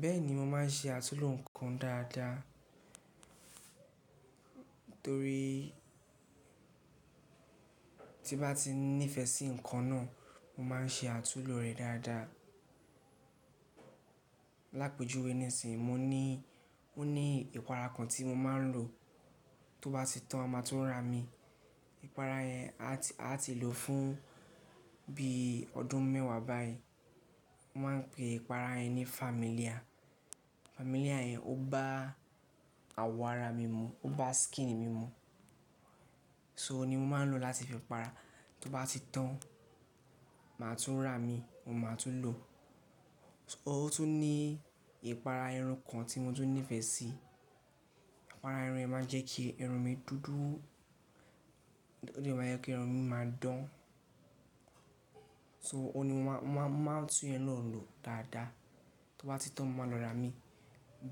Bẹ́ẹ̀ni, mo máa ń ṣe àtúnoò ǹkan dáadáa torí tí bá ti nífẹ̀ẹ́ sí ǹkan náà mo máa ń ṣe àtúnlò rẹ̀ dáadáa. Lápejúwe nísinsìnyí, mo ní, ó ní ìpara kan tí mo máa ń lò tó bá ti tán a máa tún rà mí. Ìpara yẹn a ti lò fún bí ọdún mẹ́wàá báyìí. Wọ́n máa ń pe ìpara yẹn ní família. Familia yẹn ó bá àwọ̀ ara mi mu, ó bá skin mi mu. So oun ni mo máa ń lò láti fi para. Tó bá ti tán, màá tún rà mí, mo máa tún lò. Ó tún ní ìpara irun kan tí mo tún nífẹ̀ẹ́ sí. Ìpara irun ẹ máa jẹ́ kí irun mi dúdú, ó yẹ kí irun mi máa dán. So o ni mo máa tún yẹn na lò dáadáa. Tó bá ti tán mo máa lọ rà á mí